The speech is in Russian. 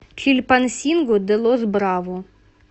чильпансинго де лос браво